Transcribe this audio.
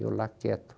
Eu lá quieto.